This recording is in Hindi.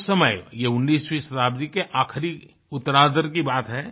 और उस समय ये 19वीं शताब्दी के ये आखरी उत्तरार्ध की बात है